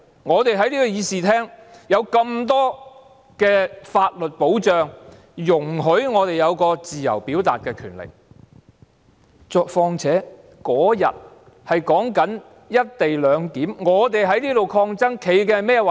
我們在這個議事廳內，有這麼多法律保障，讓我們有自由表達意見的權利；況且那天我們在辯論"一地兩檢"事宜，我們在這裏抗爭，所持的是甚麼立場？